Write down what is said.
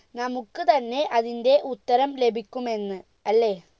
നമുക്ക് തന്നെ അതിന്റെ ഉത്തരം ലഭിക്കുമെന്ന് അല്ലെ